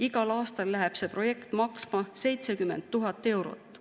Igal aastal läheb see projekt maksma 70 000 eurot.